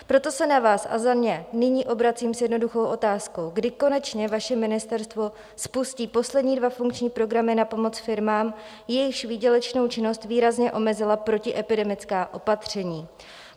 Proto se na vás a za ně nyní obracím s jednoduchou otázkou: Kdy konečně vaše ministerstvo spustí poslední dva funkční programy na pomoc firmám, jejichž výdělečnou činnost výrazně omezila protiepidemická opatření?